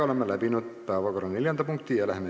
Oleme lõpetanud päevakorra neljanda punkti menetlemise.